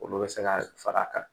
Olu bɛ se ka fara a kan